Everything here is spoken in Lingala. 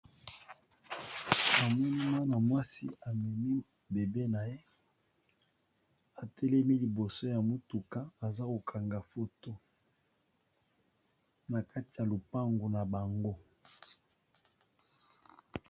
Ami muana mwasi amemi bebe na ye atelemi liboso ya motuka aza ko kanga foto, na kati ya lopango na bango.